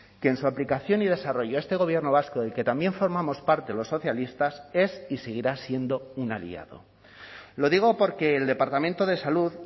que en su aplicación y desarrollo este gobierno vasco del que también formamos parte los socialistas es y seguirá siendo un aliado lo digo porque el departamento de salud